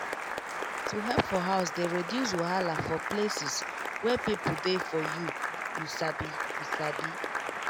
to help for house dey reduce wahala for places wey people dey for you you sabi you sabi